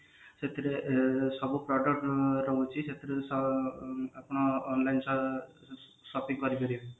ସେଥିରେ ସବୁ product ରହୁଛି ସେଥିରୁ ସ ଆପଣ online ସ shopping କରିପାରିବେ